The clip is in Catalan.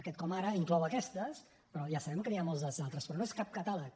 aquest com ara inclou aquestes però ja sabem que n’hi ha moltes d’altres però no és cap catàleg